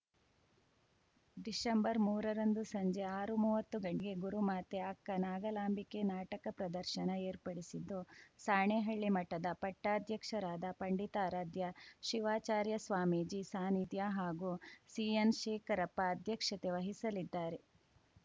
ಡಿಸೆಂಬರ್ಮೂರರಂದು ಸಂಜೆ ಆರುಮುವತ್ತು ಗಂಟೆಗೆ ಗುರುಮಾತೆ ಅಕ್ಕ ನಾಗಲಾಂಬಿಕೆ ನಾಟಕ ಪ್ರದರ್ಶನ ಏರ್ಪಡಿಸಿದ್ದು ಸಾಣೇಹಳ್ಳಿ ಮಠದ ಪಟ್ಟಾಧ್ಯಕ್ಷರಾದ ಪಂಡಿತಾರಾಧ್ಯ ಶಿವಾಚಾರ್ಯ ಸ್ವಾಮೀಜಿ ಸಾನಿಧ್ಯ ಹಾಗೂ ಸಿಎನ್‌ ಶೇಖರಪ್ಪ ಅಧ್ಯಕ್ಷತೆ ವಹಿಸಲಿದ್ದಾರೆ